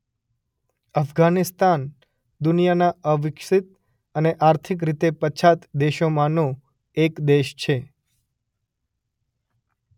અફઘાનિસ્તાન દુનિયાના અવિક્સિત અને આર્થિક રીતે પછાત દેશોમાંનો એક દેશ છે.